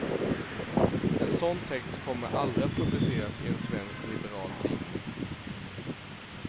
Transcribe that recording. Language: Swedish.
En sådan text kommer aldrig att publiceras i en svensk liberal tidning.